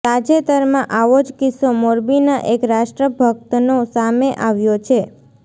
તાજેતરમાં આવો જ કિસ્સો મોરબીના એક રાષ્ટ્રભક્તનો સામે આવ્યો છે